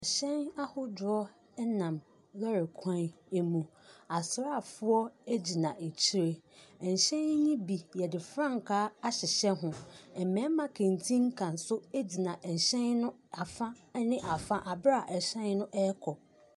Ɛhyɛn ahodoɔ nam lɔɔre kwan mu. Asraafoɔ gyinagyinaakyire. Ahyɛn yi bi, wɔde frankaa ahyehyɛ ho. Mmarima kantinka nso gyina ɛhyɛn no afa ne afa wɔ berɛ a ɛhyɛn no rekɔ.